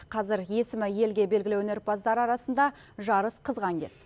қазір есімі елге белгілі өнерпаздар арасында жарыс қызған кез